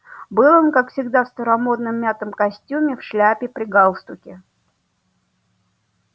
был он как всегда в старомодном мятом костюме в шляпе при галстуке